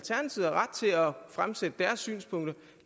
fremsætte deres synspunkter